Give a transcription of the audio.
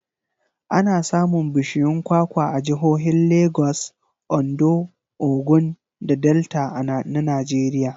Ana samun bishiyun kwakwa a jihohin Lagos, Ondo, Ogun da Delta na Najeriya.